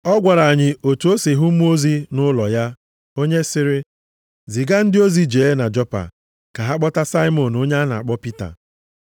Ọ gwara anyị otu o si hụ mmụọ ozi nʼụlọ ya, onye sịrị, ‘Ziga ndị ozi jee Jopa ka ha kpọta Saimọn onye a na-akpọ Pita.